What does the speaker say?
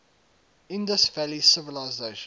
indus valley civilization